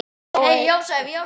sagði Dóri.